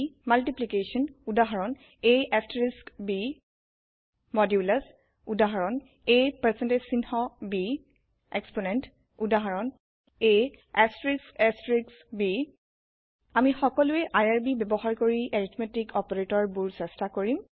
Multiplication পুৰণউদাহৰন ab modulus মদুলাচউদাহৰন ab Exponent এক্সপোনেণ্টউদাহৰন ab আমি সকলোয়ে আইআৰবি ব্যবহাৰ কৰি এৰিথমেতিক অপাৰেতৰ বোৰ চেষ্টা কৰিম